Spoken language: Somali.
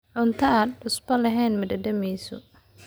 Cunto aan cusbo lahayn ma dhadhamiso.